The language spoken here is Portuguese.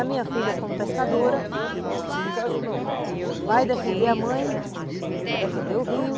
A minha filha, como pescadora, vai defender a mãe, defender o rio.